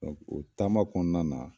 Mɛ o taama kɔnɔna na